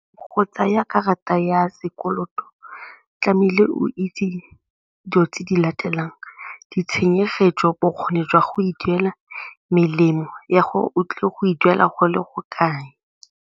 Go tsaya karata ya sekoloto tlamehile o itse dilo tse di latelang, ditshenyegelo, bokgoni jwa go e duela, melemo ya o tlile go e duela go le go kae.